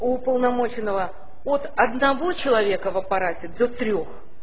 уполномоченного от одного человека в аппарате до трёх